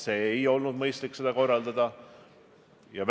Kindlasti tuleb meie inimestele öelda suur tänu.